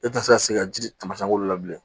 E tɛ se ka se ka ji taamasiyɛn wolo la bilen